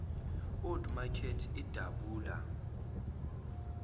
old makert idabula